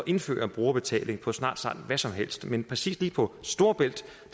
indføre brugerbetaling på snart sagt hvad som helst men lige præcis på storebælt